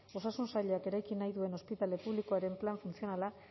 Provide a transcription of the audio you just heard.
osasun sailak eraiki nahi duen ospitale publikoaren plan funtzionala